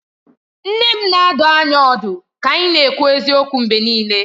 Nne m na-adụ anyị ọdụ ka anyị na-ekwu eziokwu mgbe niile